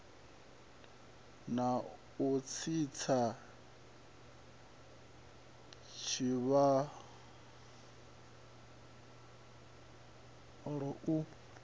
na u tsitsa tshivhalo u